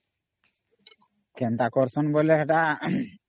କେନ୍ତା କରୁସନ ବୋଇଲେ ହେଟା ଅମ୍